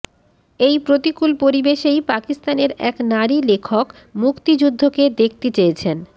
এই প্রতিকূল পরিবেশেই পাকিস্তানের এক নারী লেখক মুক্তিযুদ্ধকে দেখতে চেয়েছেন